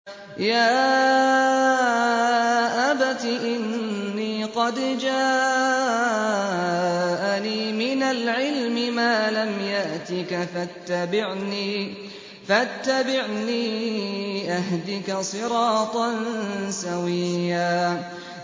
يَا أَبَتِ إِنِّي قَدْ جَاءَنِي مِنَ الْعِلْمِ مَا لَمْ يَأْتِكَ فَاتَّبِعْنِي أَهْدِكَ صِرَاطًا سَوِيًّا